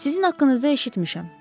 Sizin haqqınızda eşitmişəm.